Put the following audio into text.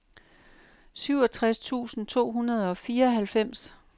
syvogtres tusind to hundrede og fireoghalvfems